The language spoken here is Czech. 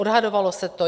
Odhadovalo se to.